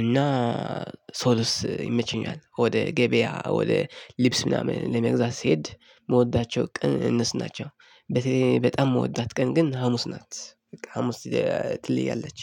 እና ሶሉስ ይመቸኛል። ወደ ገበያ ወደ ልብስ ምናምን ለመግዛት ስሄድ የምወዳቸው ቅን ናቸው። በጣም የምወዳት ቀን ግን ሀሙስ ናት በቃ ሀሙስ ትለያለች